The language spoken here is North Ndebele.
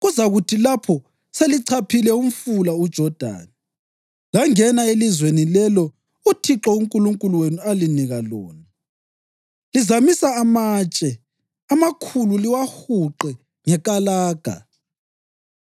Kuzakuthi lapho selichaphile umfula uJodani langena elizweni lelo uThixo uNkulunkulu wenu alinika lona, lizamisa amatshe amakhulu liwahuqe ngekalaga.